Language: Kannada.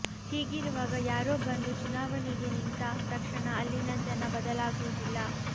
ಹೀಗಿರುವಾಗ ಯಾರೋ ಬಂದು ಚುನಾವಣೆಗೆ ನಿಂತ ತಕ್ಷಣ ಅಲ್ಲಿನ ಜನ ಬದಲಾಗುವುದಿಲ್ಲ